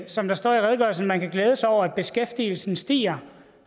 som der står i redegørelsen at man kan glæde sig over at beskæftigelsen stiger